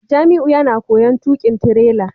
Jamiu yana koyon tukin tirela